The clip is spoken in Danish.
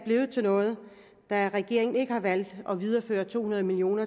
til noget da regeringen ikke har valgt at videreføre to hundrede million